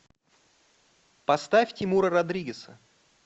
поставь тимура родригеза